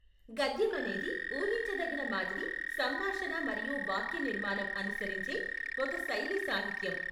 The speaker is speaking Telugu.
గద్యం అనేది ఊహించదగిన మాదిరి సంభాషణ మరియు వాక్యనిర్మాణం అనుసరించే ఒక శైలి సాహిత్యం.